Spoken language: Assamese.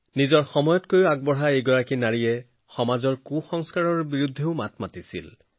তেওঁ নিজৰ সময়তকৈ বহু আগবাঢ়ি আছিল আৰু সেই সময়ৰ ভুল আচাৰব্যৱহাৰৰ বিৰুদ্ধে মাত মাতিছিল